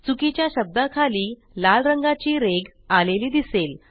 चुकीच्या शब्दाखाली लाल रंगाची रेघ आलेली दिसेल